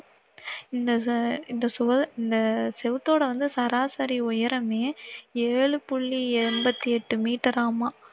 இந்த ச~இந்த சுவ~இந்த சுவரோட வந்து சராசரி உயரமே ஏழு புள்ளி எண்பத்தி எட்டு மீட்டரராமா!